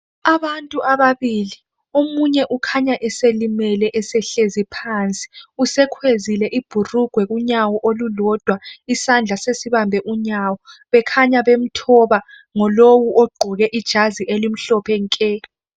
Abantu ababili omunye ukhanya eselimele esehlizi phansi usekhwezile ibhukugwe kunyaw olulodwa isandla sesibambe unyawo bekhanya bemthoba ngulowu ogqoke ijazi elimhlophe nke